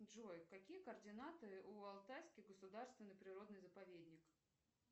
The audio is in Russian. джой какие координаты у алтайский государственный природный заповедник